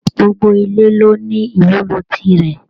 Gbogbo ile ló ní ìwúlò tirẹ.